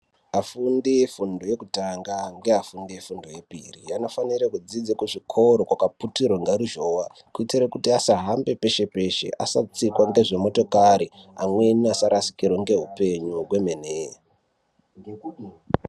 Afundi efundo yekutanga ngeafundi efundo yepiri anofanira kudzidza kuzvikora kwakaputirwa ngeruzhowa kuitire kuti asahambe peshe peshe asatsikwa ngezvimotokari amweni asarasikirwe ngeupenyu kwemene.